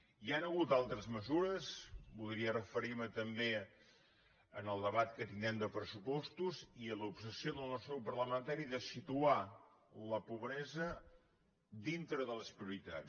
hi han hagut altres mesures volia referir me també en el debat que tindrem de pressupostos i l’obsessió del nostre grup parlamentari de situar la pobresa dintre de les prioritats